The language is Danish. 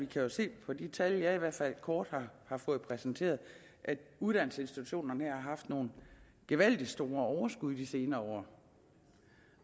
kan se af de tal jeg i hvert fald kort har fået præsenteret at uddannelsesinstitutionerne her har haft nogle gevaldig store overskud de senere